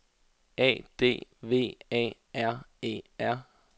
A D V A R E R